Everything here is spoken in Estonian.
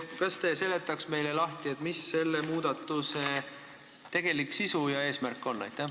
Kas te seletaksite meile lahti, mis on selle muudatuse tegelik sisu ja eesmärk?